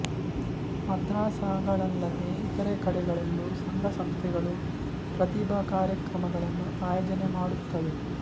ಮದ್ರಸಾಗಳಲ್ಲದೆ ಇತರ ಕಡೆಗಳಲ್ಲೂ ಸಂಘ ಸಂಸ್ಥೆಗಳು ಪ್ರತಿಭಾ ಕಾರ್ಯಕ್ರಮಗಳನ್ನು ಆಯೋಜನೆ ಮಾಡುತ್ತವೆ